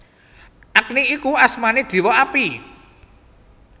Agni iku asmané Déwa Api